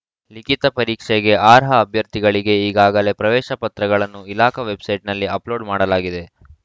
ಲಿಖಿತ ಪರೀಕ್ಷೆಗೆ ಆರ್ಹ ಅಭ್ಯರ್ಥಿಗಳಿಗೆ ಈಗಾಗಲೇ ಪ್ರವೇಶ ಪತ್ರಗಳನ್ನು ಇಲಾಖಾ ವೆಬ್‌ಸೈಟ್‌ನಲ್ಲಿ ಅಪ್‌ಲೋಡ್‌ ಮಾಡಲಾಗಿದೆ